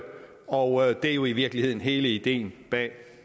og det er jo i virkeligheden hele ideen bag